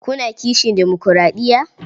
Kuna kishin demokuraɗiya?